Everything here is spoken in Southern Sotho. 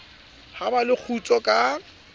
ha ba le kgutso ka